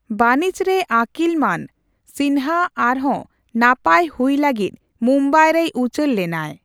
ᱵᱟᱹᱱᱤᱡᱽᱨᱮ ᱟᱹᱠᱤᱞᱢᱟᱱ, ᱥᱤᱱᱦᱟ ᱟᱨᱦᱚᱸ ᱱᱟᱯᱟᱭ ᱦᱩᱭ ᱞᱟᱹᱜᱤᱫ ᱢᱩᱢᱵᱟᱭ ᱨᱮᱭ ᱩᱪᱟᱹᱲᱞᱮᱱᱟᱭ ᱾